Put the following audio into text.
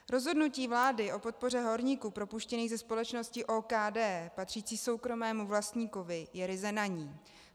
Rozhodnutí vlády o podpoře horníků propuštěných ze společnosti OKD patřící soukromému vlastníkovi je ryze na ní.